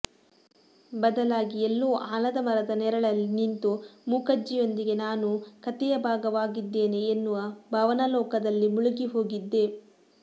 ಬದಲಾಗಿ ಎಲ್ಲೋ ಆಲದಮರದ ನೆರಳಲ್ಲಿ ನಿಂತು ಮೂಕಜ್ಜಿಯೊಂದಿಗೆ ನಾನೂ ಕಥೆಯ ಭಾಗವಾಗಿದ್ದೇನೆ ಎನ್ನುವ ಭಾವನಾಲೋಕದಲ್ಲಿ ಮುಳುಗಿ ಹೋಗಿದ್ದೆ